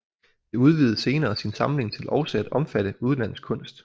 Det udvidede senere sin samling til også at omfatte udenlandsk kunst